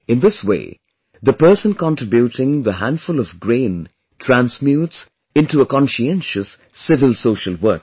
In this way, the person contributing the handful of grain transmutes into a conscientious civil social worker